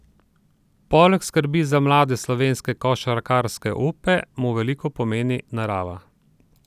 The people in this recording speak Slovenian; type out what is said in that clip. Poleg skrbi za mlade slovenske košarkarske upe, mu veliko pomeni narava.